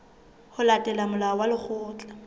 ho latela molao wa lekgetho